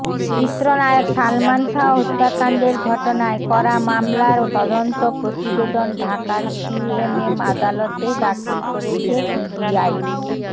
চিত্রনায়ক সালমান শাহ হত্যাকাণ্ডের ঘটনায় করা মামলার তদন্ত প্রতিবেদন ঢাকার সিএমএম আদালতে দাখিল করেছে পিবিআই